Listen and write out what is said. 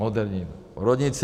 Moderní porodnici.